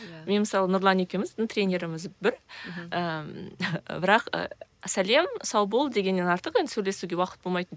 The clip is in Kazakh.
иә мен мысалы нұрлан екеуміз ну тренеріміз бір ііі бірақ ы сәлем сау бол дегеннен артық енді сөйлесуге уақыт болмайтын